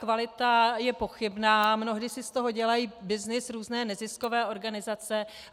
Kvalita je pochybná, mnohdy si z toho dělají byznys různé neziskové organizace.